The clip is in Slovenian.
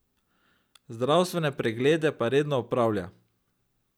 Zdravstvene preglede pa redno opravlja.